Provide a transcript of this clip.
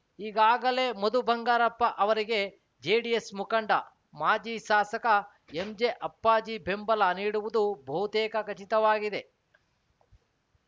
ಈಗಾಗಲೇ ಮಧು ಬಂಗಾರಪ್ಪ ಅವರಿಗೆ ಜೆಡಿಎಸ್‌ ಮುಖಂಡ ಮಾಜಿ ಶಾಸಕ ಎಂಜೆ ಅಪ್ಪಾಜಿ ಬೆಂಬಲ ನೀಡುವುದು ಬಹುತೇಕ ಖಚಿತವಾಗಿದೆ